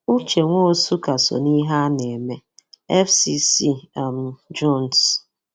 Ụche Nwosụ ka so n'ihe a na-eme -FCC um Jones